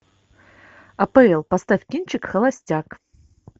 апл поставь кинчик холостяк